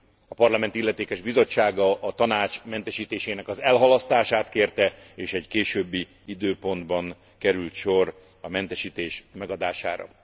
A Parlament illetékes bizottsága a Tanács mentesítésének elhalasztását kérte, és egy későbbi időpontban került sor a mentesítés megadására.